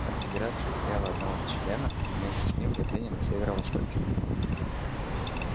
конфедерация теряла одного члена и вместе с ним владения на северо-востоке